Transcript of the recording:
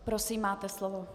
Prosím, máte slovo.